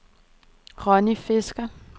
Ronni Fisker